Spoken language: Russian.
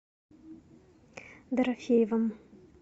дорофеевым